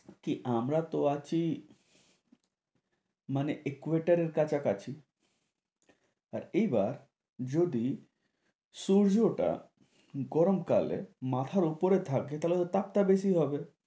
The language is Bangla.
কি আমরা তো আছি মানে equator এর কাছা কাছি, আর এইবার যদি সূর্য টা গরম কালে মাথার উপরে থাকে থালে তো তাপ টা বেশি হবে।